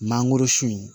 Mangoro sun